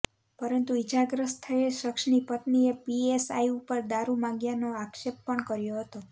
પરંતુ ઈજાગ્રસ્ત થયેલ શખ્સની પત્નીએ પીએસઆઈ ઉપર દારૂ માગ્યાનો આક્ષેપ પણ કર્યો હતો